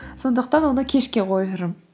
сондықтан оны кешке қойып жүрмін